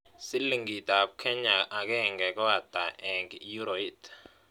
Silingitap kenya agenge ko ata eng' euroit